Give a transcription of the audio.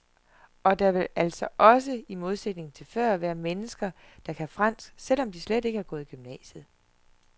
Og der vil altså også, i modsætning til før, være mennesker, der kan fransk, selvom de slet ikke har gået i gymnasiet.